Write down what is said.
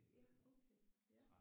Ja okay ja